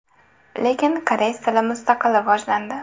Lekin koreys tili mustaqil rivojlandi.